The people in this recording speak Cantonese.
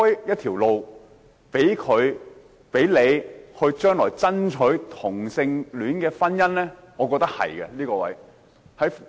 這是否開創將來爭取同性婚姻的道路呢？